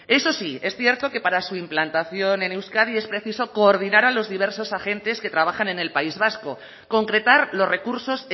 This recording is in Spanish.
eso sí es cierto que para su implantación en euskadi es preciso coordinar a los diversos agentes que trabajan en el país vasco concretar los recursos